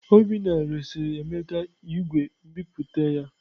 Obinna resịrị Emeka igwe nbipute ya.